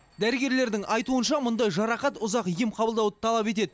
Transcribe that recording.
дәрігерлердің айтуынша мұндай жарақат ұзақ ем қабылдауды талап етеді